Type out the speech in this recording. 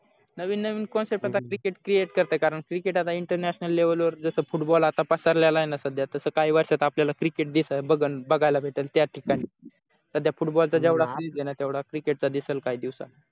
नवीन नवीन concept आता cricket ची येत असते कारण cricket आता international वर जसा football आता पसरलेला आहे ना सध्या तस काही वर्षात आपल्याला cricket बघायला भेटेल त्या ठिकाणी सध्या football चा तेवढा आहे तेवढा cricket चा दिसेल काही दिवसात